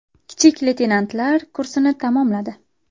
Kichik leytenantlar kursini tamomladi.